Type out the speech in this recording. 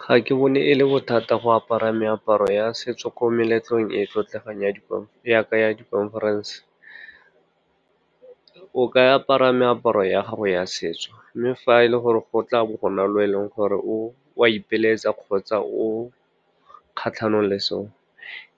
Ga ke bone e le bothata go apara meaparo ya setso ko meletlong e e tlotlegang yaka ya di-conference. O ka apara meaparo ya gago ya setso, mme fa e le gore go tla bo go na le o e leng gore o a ipelaetsa kgotsa o kgatlhanong le seo,